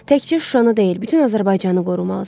Təkcə Şuşanı deyil, bütün Azərbaycanı qorumalısan.